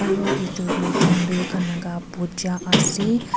aro edu tu hindu khan laka puja ase.